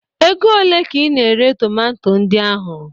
Ego olee ka ị na-ere tomanto ndị ahụ?